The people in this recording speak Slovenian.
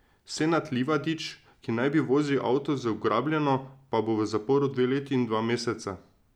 Senad Livadić, ki naj bi vozil avto z ugrabljeno, pa bo v zaporu dve leti in dva meseca.